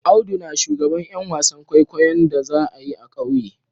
Audu na shugaban Yan wasan kwaikwayo'n da za'a yi a'kauye.